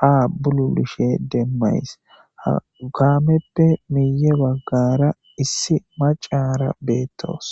ha bululushe demmays ha kaameppe miye waggara issi macara beettoos